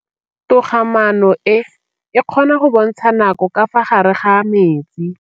Toga-maanô e, e kgona go bontsha nakô ka fa gare ga metsi.